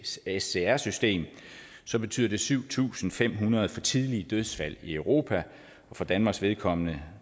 csr system så betyder det syv tusind fem hundrede for tidlige dødsfald i europa for danmarks vedkommende